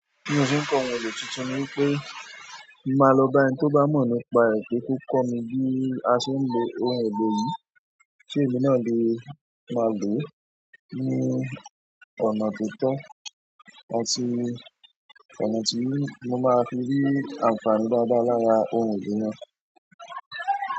Bí mo ṣe nko ohun èlò titun ni wípé, mo má lọ bá ẹni toba mo nípa pé kó kọ́ mi bí a ṣe nlò oun èlò yìí kí èmi náà ni máa lò ó ní ọ̀nà tó tọ́, àti kàn tí mo máa fi rí àǹfààní dáadáa láàárín ohun èdè náà.